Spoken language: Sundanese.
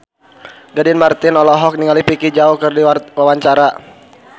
Gading Marten olohok ningali Vicki Zao keur diwawancara